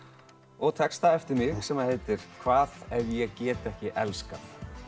og texta eftir mig sem heitir hvað ef ég get ekki elskað